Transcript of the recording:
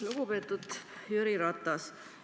Lugupeetud Jüri Ratas!